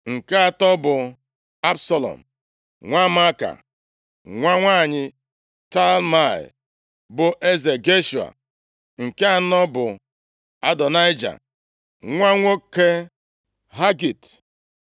Nke atọ bụ Absalọm, nwa Maaka, nwa nwanyị Talmai, bụ eze Geshua. Nke anọ bụ Adonaịja, nwa nwoke Hagit